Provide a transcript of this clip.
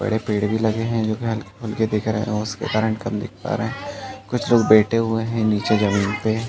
बड़े पेड़ भी लगे हैं जो के हल्के-फुल्के दिख रहे है। उसके कारन कम दिख पा रहे हैं। कुछ लोग बेठे हुई हैं नीचे ज़मींन पे।